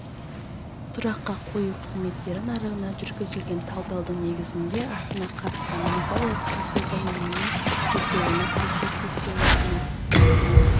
тұраққа қою қызметтері нарығына жүргізілген талдаудың негізінде астана қатысты монополияға қарсы заңнаманың бұзылуына тергеп-тексеру рәсімін